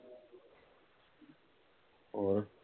ਹੋਰ